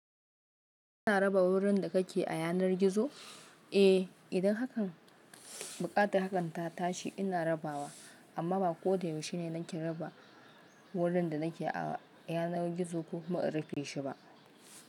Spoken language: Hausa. Kina raba wurin da kake a yanar gizo? Eh, idan hakan buƙatar hakanta tashi ina rabawa, amma bako da yaushe ne nake raba wurin da nake a yanar gizo ko kuma in rufe shiba.